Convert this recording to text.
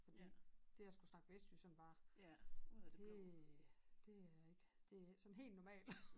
Fordi det at skulle snakke vestjysk sådan bare det er det er ikke det er ikke sådan helt normal